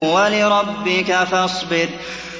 وَلِرَبِّكَ فَاصْبِرْ